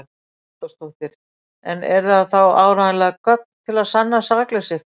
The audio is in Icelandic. Hugrún Halldórsdóttir: En eru það þá áreiðanleg gögn til að sanna sakleysi ykkar?